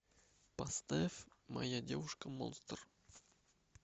поставь моя девушка монстр